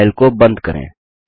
file को बंद करें